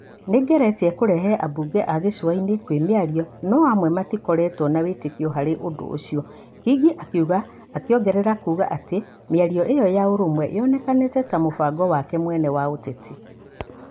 "Nĩ ngeretie kũrehe ambunge a gĩcũa-inĩ kwĩ mĩario no amwe matĩkoretwo na wĩtĩkio harĩ ũndũ ũcio." Kingi akiuga, akĩongerera kuuga atĩ mĩario ĩo ya ũrũmwe ĩonekanĩte ta mũbango wake mwene wa ũteti.